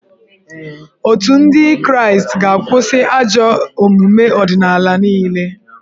Otù ndị kraịstị ga-akwụsị ajọ omume ọdịnala niile